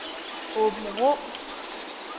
Åbenrå